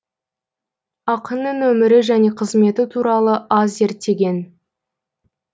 ақынның өмірі және қызметі туралы аз зерттеген